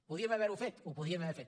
podíem haver ho fet ho podíem haver fet